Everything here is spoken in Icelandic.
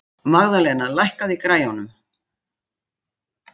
Magðalena, lækkaðu í græjunum.